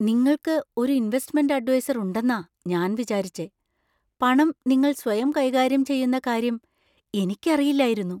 നിങ്ങൾക്ക് ഒരു investment adviser ഉണ്ടെന്നാ ഞാൻ വിചാരിച്ചെ, പണം നിങ്ങൾ സ്വയം കൈകാര്യം ചെയ്യുന്ന കാര്യം എനിക്കറിയില്ലായിരുന്നു .